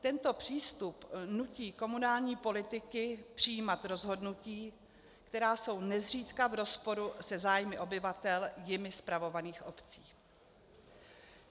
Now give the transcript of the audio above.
Tento přístup nutí komunální politiky přijímat rozhodnutí, která jsou nezřídka v rozporu se zájmy obyvatel jimi spravovaných obcí.